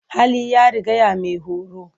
Hali ya rigaya maihoro.